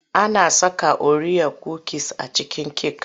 Ana saka oriya kukis a cikin cake.